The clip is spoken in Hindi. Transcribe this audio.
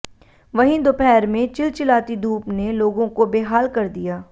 वहीं दोपहर में चिलचिलाती धूप ने लोगों को बेहाल कर दिया